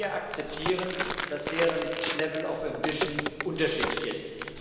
Denn wir akzeptieren, dass deren level of ambition unterschiedlich ist.